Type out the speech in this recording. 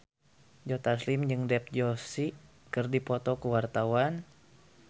Joe Taslim jeung Dev Joshi keur dipoto ku wartawan